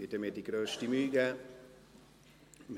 Ich werde mir die grösste Mühe geben!